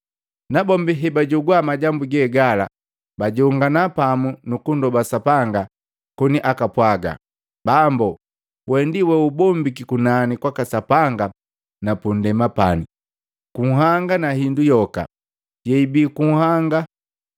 Nabombi hebajogwa majambu gegala bajongana pamu kunndoba Sapanga koni apwaaga, “Bambo, wee ndi weubombiki kunani kwaka Sapanga na punndema pani, kunhanga na hindu yoka yeibi kunhanga!